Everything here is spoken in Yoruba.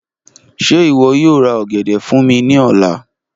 Ṣe iwọ yoo ra ogede fun mi ni ọla?